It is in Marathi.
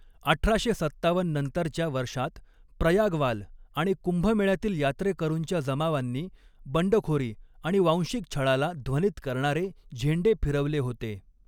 अठराशे सत्तावन्न नंतरच्या वर्षात, प्रयागवाल आणि कुंभमेळ्यातील यात्रेकरूंच्या जमावांनी बंडखोरी आणि वांशिक छळाला ध्वनित करणारे झेंडे फिरवले होते.